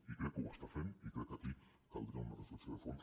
i crec que ho està fent i crec que aquí caldria una reflexió de fons